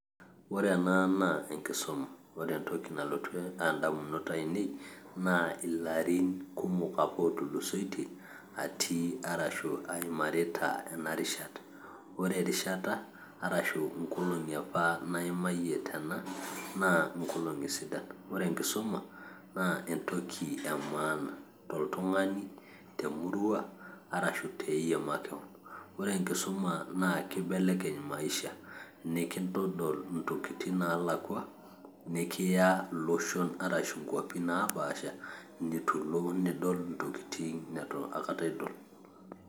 Ore ena naa enkisuma, ore entoki nalotu indamunot aainei naa ilarin kumok apa ootulusoitei atii arashu aimarita ena rishata. Ore erishata arashu inkolong'i apa naimayiei tena naa inkolong'i sidan. Ore enkisuma naa entoki emaana toltung'ani, te emurua arashu teeyie makewon. Ore enkisuma naa keibelekeny' maisha, nekintodol intokiting' naalakua, nikiya iloshon arashu inkuapi napaasha nitu ilo nidol intoking' nitu aikata idol.